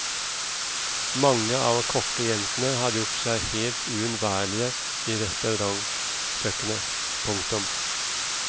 Mange av kokkejentene har gjort seg helt uunnværlige i restaurantkjøkkenet. punktum